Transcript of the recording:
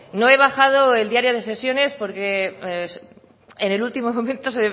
no he bajado el diario de sesiones porque en el último momento